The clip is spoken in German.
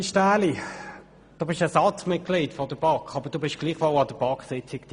Ueli Stähli, du bist Ersatzmitglieder der BaK, warst aber gleichwohl an der BaK-Sitzung dabei.